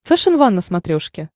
фэшен ван на смотрешке